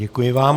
Děkuji vám.